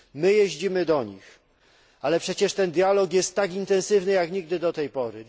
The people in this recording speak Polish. My jeździmy do nich, ale przecież ten dialog jest tak intensywny jak nigdy do tej pory.